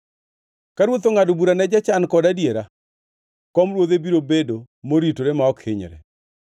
Ka ruoth ongʼado bura ne jochan kod adiera, kom ruodhe biro bedo moritore ma ok hinyre.